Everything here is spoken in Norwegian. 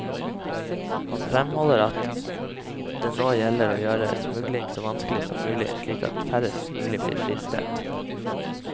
Han fremholder at det nå gjelder å gjøre smugling så vanskelig som mulig, slik at færrest mulig blir fristet.